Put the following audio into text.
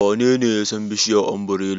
Wanene ya san bishiyar ombirela?